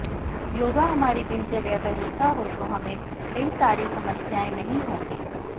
योगा हमारी दिनचर्या का हिस्सा हो तो हमें कई सारी समस्याएं नहीं होंगी